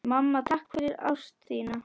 Mamma, takk fyrir ást þína.